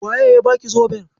Waye ya baki zoben?